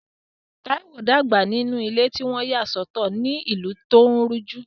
Taiwo dàgbà nínú ilé tí wọ́n yà sọ́tọ̀ ní ìlú tí ó ń rújú.